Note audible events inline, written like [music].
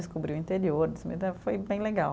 Descobri o interior, [unintelligible] foi bem legal.